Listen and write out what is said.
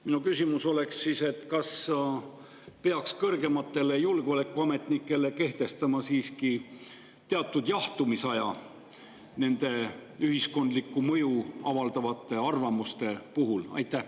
Minu küsimus on: kas peaks kõrgetele julgeolekuametnikele kehtestama teatud jahtumisaja ühiskondlikku mõju avaldavate arvamuste puhul?